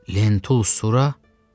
Lentul Sura?